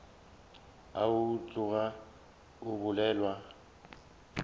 ao a tloga a bolelwa